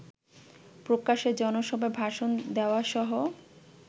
প্রকাশ্যে জনসভায় ভাষণ দেওয়াসহ